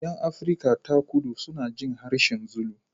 Yan Afirka ta Kudu suna jin harshen Zulu.